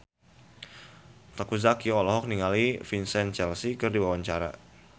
Teuku Zacky olohok ningali Vincent Cassel keur diwawancara